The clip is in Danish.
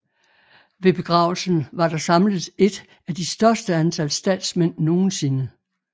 Ved begravelsen var der samlet et af de største antal statsmænd nogensinde